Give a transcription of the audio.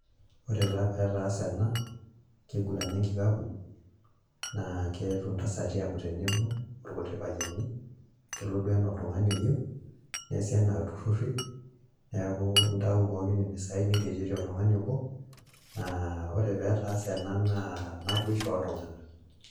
Ore taa pee etaase ena kiguran enkikapu naa ketuo intasati aaku tenebo olkuti payiani kelo duo ana oltung'ani oyieu neeasi anaa ilturrurri neeku intayuyu pookin imbisai neretieki oltung'ani obo naa ore pee etaase ena naa naiboshu oltung'anak